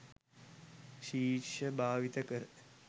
ශිර්ෂ භාවිත කර